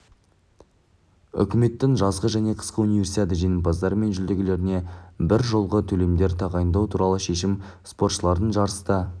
үкіметтің жазғы және қысқы универсиада жеңімпаздары мен жүлдегерлеріне бір жолғы төлемдер тағайындау туралы шешімі спортшылардың жарыста